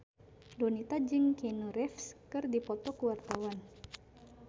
Donita jeung Keanu Reeves keur dipoto ku wartawan